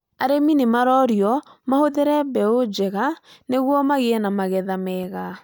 Arĩmi nĩmarorio mahũthĩre mbeũ njega nĩguo magĩe na magetha mega